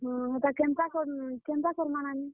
ହୁଁ, ହୁଁ, ହେଟା କେନ୍ତା କରମା, କେନ୍ତା କରମା ହେନୁ?